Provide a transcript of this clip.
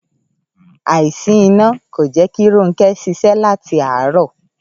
Àìsí iná kò jé̩ kí Rónké̩ s̩ís̩é̩ láti àárò̩